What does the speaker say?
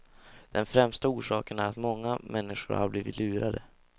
Den främsta orsaken är att många människor blivit lurade.